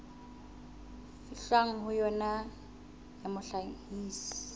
fihlwang ho yona ya mohlahisi